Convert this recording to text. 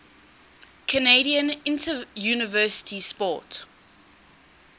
canadian interuniversity sport